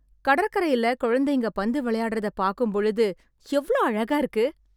கடற்கரைல குழந்தைங்க பந்து விளையாடறத பார்க்கும் பொழுது எவ்வளோ அழகா இருக்கு